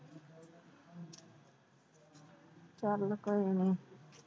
ਕਰ ਲੋ ਕੰਮ।